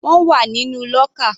Wọ́n wà nínú lọ́kà.